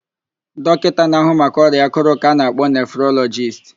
Dọkịta na-áhụ̀ maka ọrịa àkụ̀rụ̀ ka ana-akpọ nefrolọjist.